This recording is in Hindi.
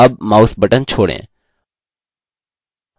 अब mouse button छोड़ें